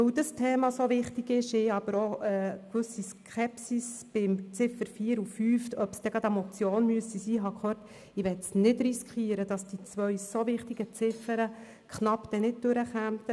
Da dieses Thema so wichtig ist, ich aber auch eine gewisse Skepsis bezüglich der Ziffern 4 und 5 gehört habe, im Sinn, ob es denn wirklich eine Motion sein müsse, möchte ich nicht riskieren, dass diese beiden so wichtigen Ziffern nicht durchkommen.